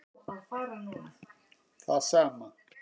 Það sama